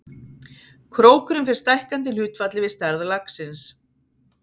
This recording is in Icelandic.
Krókurinn fer stækkandi í hlutfalli við stærð laxins.